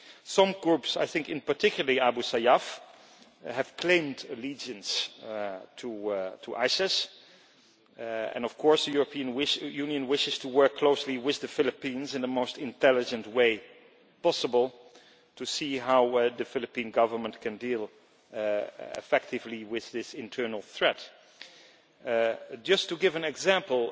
Some groups, and in particular Abu Sayyaf, have claimed allegiance to ISIS and, of course, the European Union wishes to work closely with the Philippines in the most intelligent way possible to see how the Philippine Government can deal effectively with this internal threat. Just to give an example